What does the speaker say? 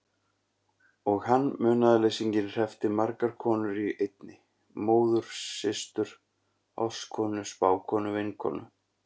Og hann, munaðarleysinginn, hreppti margar konur í einni: móður systur ástkonu spákonu vinkonu.